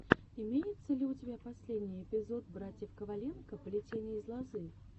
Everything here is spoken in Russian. имеется ли у тебя последний эпизод братьев коваленко плетение из лозы